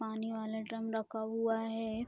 पानी वाला ड्रम रखा हुआ है।